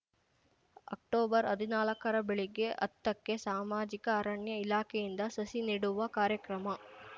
ಅಕ್ಟೊಬರ್ಹದಿನಾಲಕ್ಕರ ಬೆಳಿಗ್ಗೆ ಹತ್ತಕ್ಕೆ ಸಾಮಾಜಿಕ ಅರಣ್ಯ ಇಲಾಖೆಯಿಂದ ಸಸಿ ನೆಡುವ ಕಾರ್ಯಕ್ರಮ